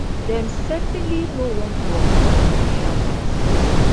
dem certainly no want wokers for social policies